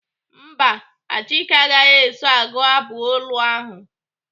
Mba, Achike agaghị eso agụ abụ olu ahụ.